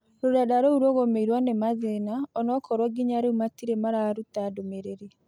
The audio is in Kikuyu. Rurenda rou rũgũmĩirwo nĩ mathĩna onakorwo ngĩnya rĩũ matĩre mararũta ndumĩrĩri